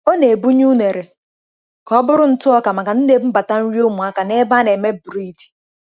Ọ na-ebunye unere ka ọ bụrụ ntụ ọka maka ndị na-ebubata nri ụmụaka na ebe a na-eme bred.*